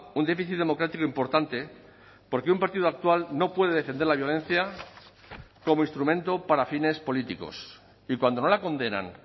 un déficit democrático importante porque un partido actual no puede defender la violencia como instrumento para fines políticos y cuando no la condenan